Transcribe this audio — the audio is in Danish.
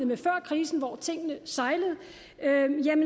med før krisen hvor tingene sejlede